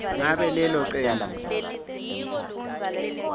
ngabe lelo cembu